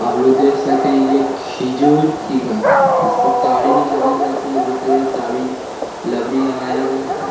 आप लोग देख सकते है यह खजूर की घास है इससे ताड़ी निकाली जाती है देख सकते है ताड़ी लबड़ी लगाया गया है।